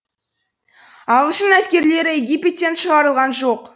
ағылшын әскерлері египеттен шығарылған жоқ